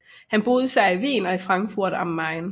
Han boede især i Wien og i Frankfurt am Main